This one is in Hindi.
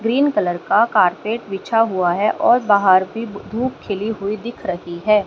ग्रीन कलर का कारपेट बिछा हुआ है और बाहर भी धूप खिली हुई दिख रही है।